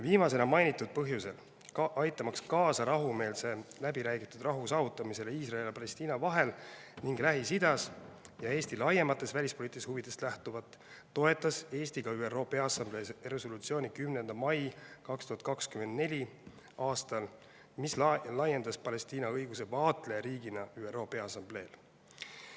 Viimasena mainitud põhjusel, aitamaks kaasa rahumeelselt läbiräägitud rahu saavutamisele Iisraeli ja Palestiina vahel ning Lähis-Idas ja Eesti laiematest välispoliitilistest huvidest lähtuvalt toetas Eesti ka ÜRO Peaassamblee 10. mai 2024. aasta resolutsiooni, mis laiendas Palestiina õigusi vaatlejariigina ÜRO Peaassambleel.